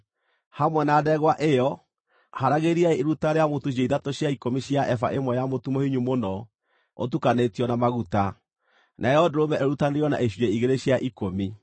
Hamwe na ndegwa ĩyo haragĩriai iruta rĩa mũtu icunjĩ ithatũ cia ikũmi cia eba ĩmwe ya mũtu mũhinyu mũno ũtukanĩtio na maguta; nayo ndũrũme ĩrutanĩrio na icunjĩ igĩrĩ cia ikũmi;